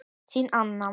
Þín, Anna.